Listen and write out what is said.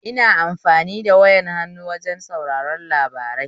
Ina amfani da wayar hannu wajen sauraren labarai